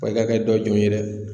kɛ dɔ ye dɛ